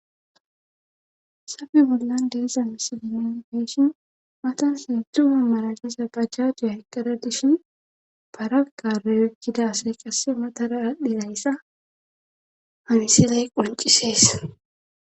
safe bollan deesa misilinen feeshin matan heendtzuma malalisa bajjaduyaheqqara dishin baragaroy eggidasay qasse matara adhdhinayyssa hamisiley qoncisees